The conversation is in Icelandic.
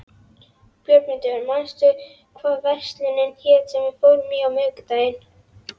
Björgmundur, manstu hvað verslunin hét sem við fórum í á miðvikudaginn?